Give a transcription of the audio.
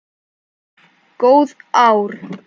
Góð ár.